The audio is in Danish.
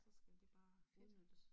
Så skal det bare udnyttes